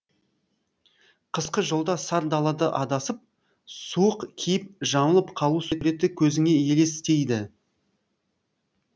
қысқы жолда сар далада адасып суық кейіп жамылып қалу суреті көзіңе елестейді